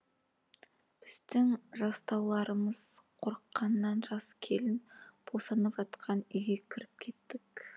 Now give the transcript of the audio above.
біздің жастауларымыз қорыққаннан жас келін босанып жатқан үйге кіріп кеттік